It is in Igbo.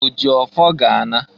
O ji ọfọ ga-a na.